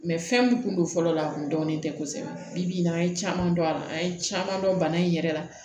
fɛn min kun don fɔlɔ a kun dɔnnen tɛ kosɛbɛ bi n'an ye caman dɔn a la an ye caman dɔn bana in yɛrɛ la